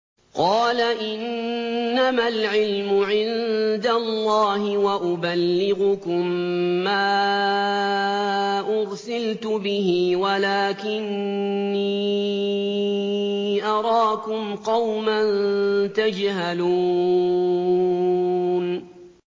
قَالَ إِنَّمَا الْعِلْمُ عِندَ اللَّهِ وَأُبَلِّغُكُم مَّا أُرْسِلْتُ بِهِ وَلَٰكِنِّي أَرَاكُمْ قَوْمًا تَجْهَلُونَ